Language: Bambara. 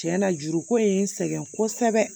Tiɲɛ na juruko in ye n sɛgɛn kosɛbɛ